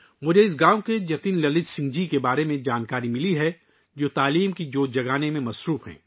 مجھے اس گاؤں کے جتن للت سنگھ جی کے بارے میں معلوم ہوا ہے، جو تعلیم کا شعلہ جلانے میں مصروف ہیں